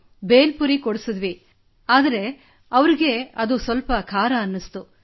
ಭೇಲ್ ಪುರಿ ಕೊಡಿಸಿದೆವು ಆದರೆ ಅವರಿಗೆ ಸ್ವಲ್ಪ ಖಾರವೆನಿಸಿತು